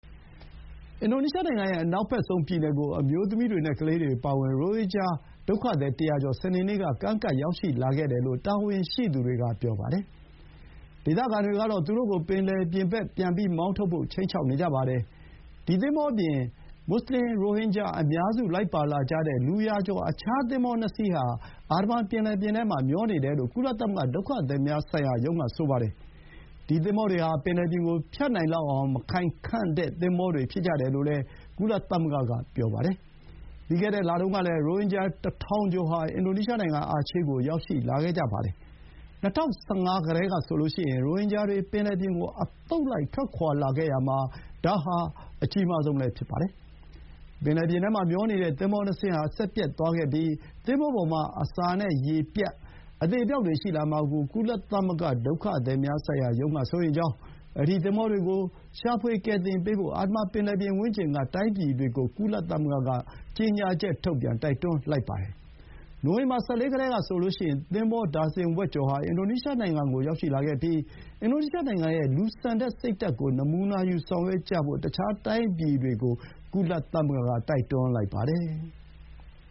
အင်ဒိုနီးရှားနိုင်ငံရဲ့ အနောက်ဘက်ဆုံးပြည်နယ်ကို အမျိုးသမီးတွေနဲ့ ကလေးတွေအပါအဝင် ရိုဟင်ဂျာ ၁၀၀ ကျော် စနေနေ့ က ကမ်းကပ်လာခဲ့တယ်လို့ တာဝန်ရှိသူတွေက ပြောပါတယ်။ ဒေသခံတွေကတော့ သူတို့ကို ပင်လယ်ပြင်ဘက် ပြန်ထုတ်ဖို့ ခြိမ်းခြောက်နေကြပါတယ်။ မူဆလင် ရိုဟင်ဂျာအများစုလိုက်ပါလာကြတဲ့ လူရာကျော် သင်္ဘော ၂ စီး ဟာ အာဒမန်ပင်လယ်ပြင်ထဲမှာမျောနေတယ်လို့ ကုလသမဂ္ဂ ဒုက္ခသည်များဆိုင်ရာရုံးက ဆိုပါတယ်။ ဒီ သင်္ဘောတွေဟာ ပင်လယ်ပြင်ကိုဖြတ်နိုင်လောက်အောင် မခိုင်ခံ့တဲ့ သင်္ဘောတွေ ဖြစ်ကြတယ်လို့လည်း ကုလသမဂ္ဂက ပြောပါတယ်။ ပြီးခဲ့တဲ့ လတုန်းကလည်း ရိုဟင်ဂျာ ၁,၀၀၀ ကျော်ဟာ အင်ဒိုနီးရှားနိုင်ငံ အာချေးကို ရောက်ရှိလာခဲ့ကြပါတယ်။ ၂၀၁၅ ကတည်းကဆိုရင် ရိုဟင်ဂျာတွေ ပင်လယ်ပြင်ကို အသုတ်လိုက်ထွက်ခွါရာမှာ ဒါဟာ အကြီးမားဆုံးလည်းဖြစ်ပါတယ်။ ပင်လယ်ပြင်ထဲမှာ မျောနေတဲ့ သင်္ဘောနှစ်စင်းဟာ စက်ပျက်သွားခဲ့ပြီး သင်္ဘောပေါ်မှာ အစာနဲ့ရေပြတ်ပြီး အသေအပျောက်တွေ ရှိလာမှာကို ကုလသမဂ္ ဒုက္ခသည်များဆိုင်ရာရုံးက စိုးရိမ်ကြောင်း၊ အဲဒီ သင်္ဘောတွေကို ရှာဖွေကယ်တင်ပေးဖို့ အာဒမန် ပင်လယ်ပြင်ဝန်းကျင်က တိုင်းပြည်တွေကို ကုလသမဂ္ဂက ကြေညာချက်ထုတ်ပြန် တိုက်တွန်းလိုက်ပါတယ်။ နိုဝင်ဘာ ၁၄ ကတည်းကဆိုရင် သင်္ဘော ဒါဇင်ဝက်ကျော်ဟာ အင်ဒိုနီးရှားနိုင်ငံကိုရောက်ရှိခဲ့ပြီး အင်ဒိုနီးရှားနိုင်ငံရဲ့ လူဆန်တဲ့ စိတ်ဓာတ်ကို နမူနာယူ ဆောင်ရွက်ကြဖို့ တခြားတိုင်းပြည်တွေကို ကုလသမဂ္ဂ က ပြောလိုက်ပါတယ်။